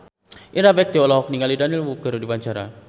Indra Bekti olohok ningali Daniel Wu keur diwawancara